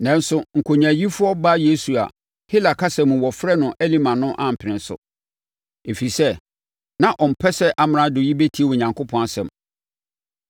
Nanso, nkonyaayifoɔ Bar-Yesu a, Hela kasa mu wɔfrɛ no Elima no ampene so, ɛfiri sɛ, na ɔmpɛ sɛ amrado yi bɛtie Onyankopɔn asɛm.